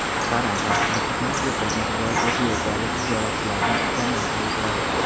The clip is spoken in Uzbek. Haram xavfsizlik xizmati yiqilgan ayol efiopiyalik ziyoratchilardan ekanini aniqladi.